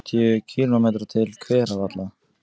Héðan eru um fimmtíu kílómetrar til Hveravalla.